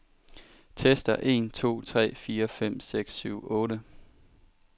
Tester en to tre fire fem seks syv otte.